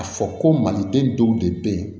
A fɔ ko maliden dɔw de be yen